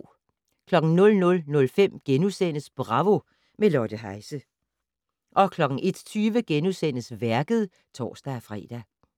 00:05: Bravo - med Lotte Heise * 01:20: Værket *(tor-fre)